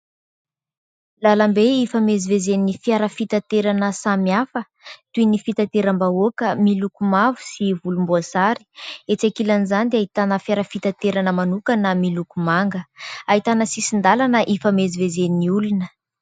Lalambe ifamezivezeny fiara fitanterana samy hafa, toy ny fitanteram-bahoaka miloko mavo sy volomboasary. Etsy an-kilany izany dia ahita fitanterana manokana miloko manga ahitana sisindalana ifamezivezeny olona.